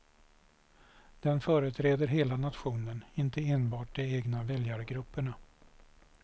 Den företräder hela nationen, inte enbart de egna väljargrupperna.